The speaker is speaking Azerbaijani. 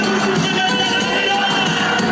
Heydər!